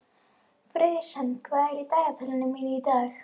Friðsemd, hvað er í dagatalinu mínu í dag?